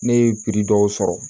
Ne ye dɔw sɔrɔ